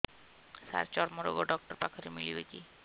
ସାର ଚର୍ମରୋଗ ଡକ୍ଟର ପାଖରେ ମିଳିବେ କି